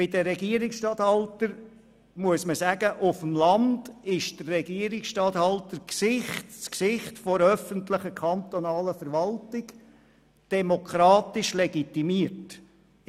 Zu den Regierungsstatthaltern muss man sagen, dass der Regierungsstatthalter auf dem Land das Gesicht der öffentlichen Verwaltung und demokratisch legitimiert ist.